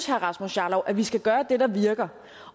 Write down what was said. herre rasmus jarlov at vi skal gøre det der virker